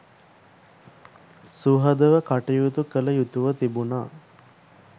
සුහදව කටයුතු කළ යුතුව තිබුණා